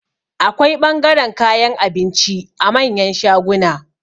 Akwai ɓangaren kayan abinci a manyan shaguna